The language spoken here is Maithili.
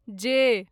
जे